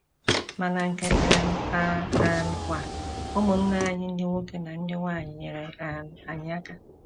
Ma na nke um a um kwa, ụmụnna anyị ndị nwoke na ndị nwanyị nyeere um anyị aka.